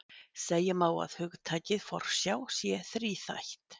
Segja má að hugtakið forsjá sé þríþætt.